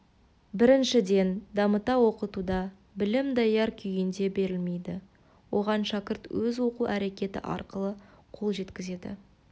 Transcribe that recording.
біріншіден дамыта оқытуда білім даяр күйінде берілмейді оған шәкірт өз оқу әрекеті арқылы қол жеткізеді